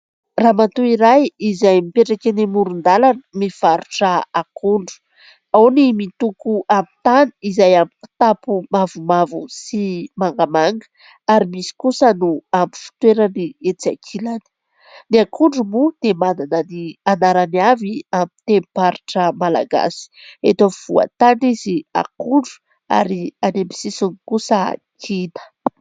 Ramatoa iray izay mipetraka eny amoron-dalana mivarotra akondro. Ao ny mitoko amin'ny tany izay amin'ny kitapo mavomavo sy mangamanga ary misy kosa no amin'ny fitoerany etsy ankilany. Ny akondro moa dia manana ny anarany avy amin'ny tenim-paritra malagasy, eto afovoan-tany izy akondro ary any amin'ny sisiny kosa kida.